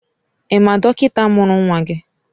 Ị ma dọkịta mụrụ nwa gị?